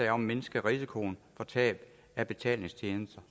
at mindske risikoen for tab af betalingstjenester